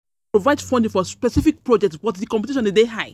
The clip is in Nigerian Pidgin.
um Grants dey um provide funding for specific projects, but um di competition dey high.